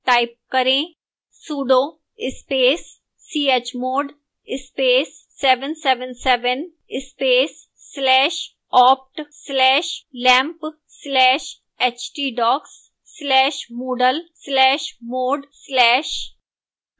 type करें sudo space chmod space 777 space slash opt slash lampp slash htdocs slash moodle slash mod slash